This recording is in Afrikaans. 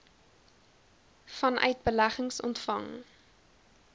vanuit beleggings ontvang